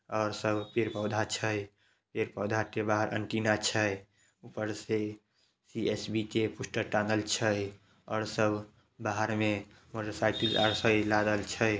और सब पेड़-पौधा छै पेड़-पौधा के बाहर एन्टीना छै ऊपर से सी_एस_बी के पोस्टर टाँगल छै और सब बाहर में मोटरसाइकिल --